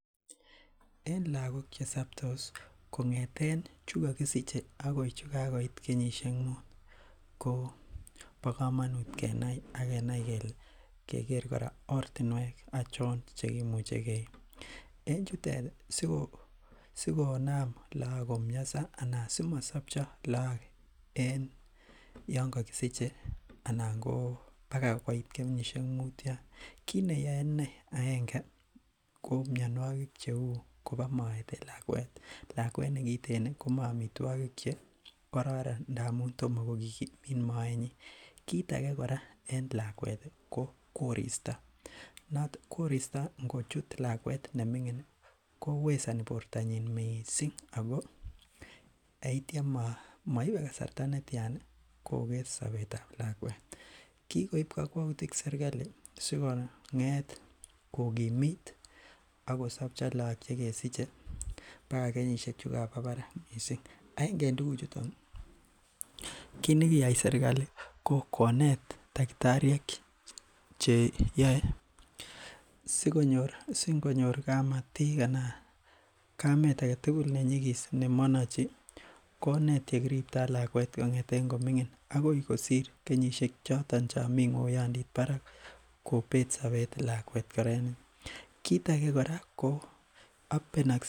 En lakok che sabtos kong'eten chekokisiche akoi chekikoit kenyisiek muut ko bo kamanut kenai agenai keger ortinuek cheimuche en chutet sikonam lakok komasabcha anan simosabcho ih en Yoon kokisiche anan ko bag koit kenyisiek muut Yoon kit neyae cheuu aege ko koba maet en lakuet nekiten ih komae amituogik che karorron ngamun toma kokimit maetnyin. Kit age kora ko korista , korista ingochit lakuet neming'in ih kowesani missing ngamun tomakokimit bortanyin. Ago maibe kasarta netian jokes sabetab lakuet ago kikoib kakwautiiet serkali sikokimit ageo sabcho lak chegesiche . Aenge en tuguk chuton ko konet singonyor kamatik anan kamet agetugul nenyigis nemanchi konet yekiribto lakuet kong'et koming'ingin Akoi kosir kenyisiek taman ak muut kit age